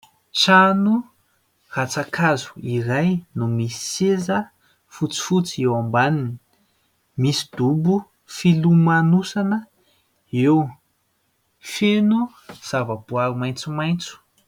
Trano rantsan-kazo iray no misy seza fotsifotsy eo ambaniny, misy dobo filomanosana eo, feno zava-boary maitsomaitso.